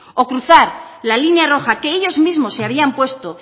o cruzar la línea roja que ellos mismos se habían puesto